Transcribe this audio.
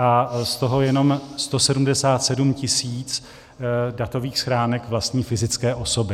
A z toho jenom 177 tisíc datových schránek vlastní fyzické osoby.